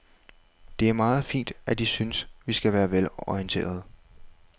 Det er meget fint, at I synes, vi skal være velorienterede.